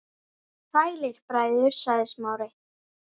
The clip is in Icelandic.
Sælir bræður- sagði Smári.